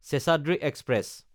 Seshadri express